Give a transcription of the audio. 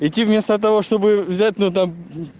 идти вместо того чтобы взять ну там